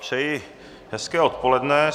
Přeji hezké odpoledne.